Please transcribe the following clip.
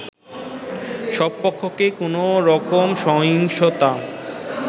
সব পক্ষকে কোনোরকম সহিংসতা